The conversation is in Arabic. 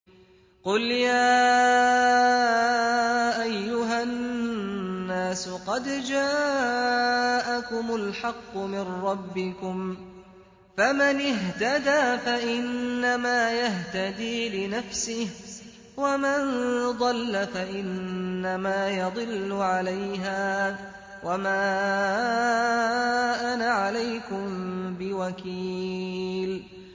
قُلْ يَا أَيُّهَا النَّاسُ قَدْ جَاءَكُمُ الْحَقُّ مِن رَّبِّكُمْ ۖ فَمَنِ اهْتَدَىٰ فَإِنَّمَا يَهْتَدِي لِنَفْسِهِ ۖ وَمَن ضَلَّ فَإِنَّمَا يَضِلُّ عَلَيْهَا ۖ وَمَا أَنَا عَلَيْكُم بِوَكِيلٍ